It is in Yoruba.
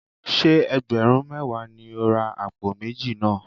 Ṣé ẹgbẹ̀rún mẹ́wàá ni ó ra àpò méjì náà?